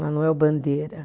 Manoel Bandeira.